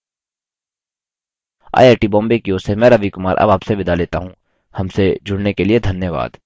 I I T Bombay की ओर से मैं रवि कुमार अब आपसे विदा लेता हूँ हमसे जुड़ने के लिए धन्यवाद